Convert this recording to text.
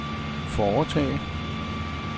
foretage